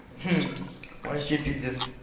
мм вообще пиздец